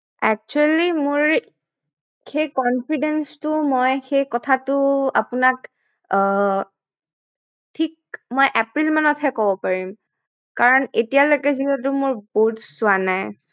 Actually মোৰ সেই confidence টো সেই কথাটো মই আপোনাক আহ ঠিক এপ্ৰিল মানত হে পাৰিম কাৰন এতিয়ালৈকে যিহেতু মোৰ growths হোৱা নাই